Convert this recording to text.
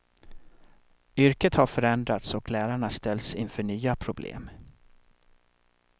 Yrket har förändrats och lärarna ställs inför nya problem.